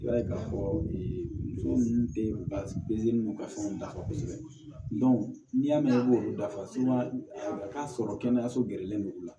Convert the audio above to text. I b'a ye k'a fɔ muso ninnu de bɛ ka fɛnw dafa kosɛbɛ n'i y'a mɛn i b'olu dafa sumaya k'a sɔrɔ kɛnɛyaso gɛrɛlen don u la